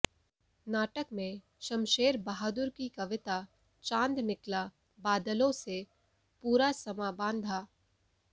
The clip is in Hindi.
नाटक में शमशेर बहादुर की कविता चांद निकला बादलों से पूरा समां बांधा